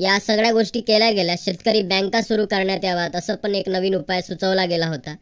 या सगळ्या गोष्टी केल्या गेल्या शेतकरी bank आह सुरू करण्यात याव्यात तसं पण एक नवीन उपाय सुचवला गेला होता.